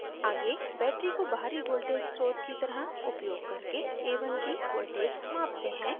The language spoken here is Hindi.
आगे battery को बाहरी voltage स्रोत की तरह उपयोग करके a1 की voltage मापते हैं